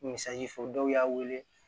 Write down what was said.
Misali fɔ dɔw y'a wele